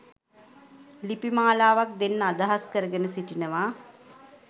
ලිපි මාලාවක් දෙන්න අදහස් කරගෙන සිටිනවා